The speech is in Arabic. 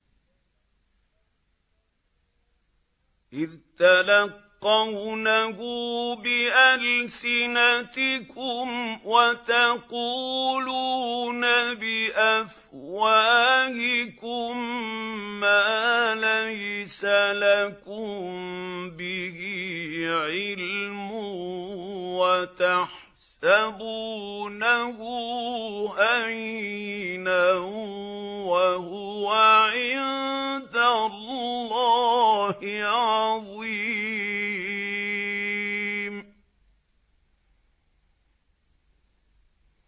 إِذْ تَلَقَّوْنَهُ بِأَلْسِنَتِكُمْ وَتَقُولُونَ بِأَفْوَاهِكُم مَّا لَيْسَ لَكُم بِهِ عِلْمٌ وَتَحْسَبُونَهُ هَيِّنًا وَهُوَ عِندَ اللَّهِ عَظِيمٌ